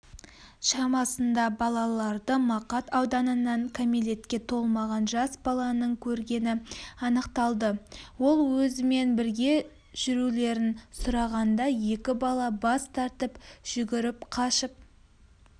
шамасында балаларды мақат ауданынан кәмелетке толмаған жас баланың көргені анықталды ол өзімен бірге жүрулерін сұрағанда екі бала бас тартып жүгіріп қашып